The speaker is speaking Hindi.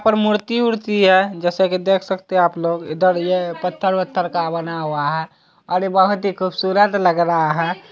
मूर्ति उर्ती है जैसा की देख सकते आप लोग इधर ये पत्थर वत्थर का बना हुआ है और बहोत ही खूबसूरत लग रहा है।